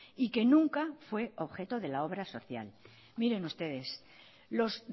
y que nunca fue objeto de la obra social miren ustedes los